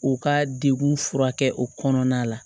U ka dekun furakɛ o kɔnɔna la